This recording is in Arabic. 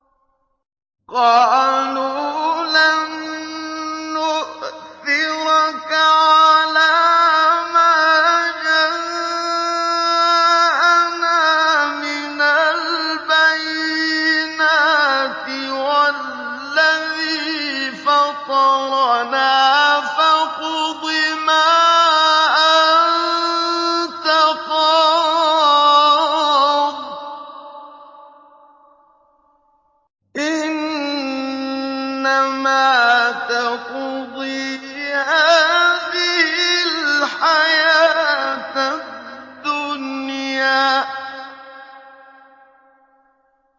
قَالُوا لَن نُّؤْثِرَكَ عَلَىٰ مَا جَاءَنَا مِنَ الْبَيِّنَاتِ وَالَّذِي فَطَرَنَا ۖ فَاقْضِ مَا أَنتَ قَاضٍ ۖ إِنَّمَا تَقْضِي هَٰذِهِ الْحَيَاةَ الدُّنْيَا